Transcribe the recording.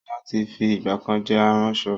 Sọlá tí fi ìgbàkan jẹ́ aránṣọ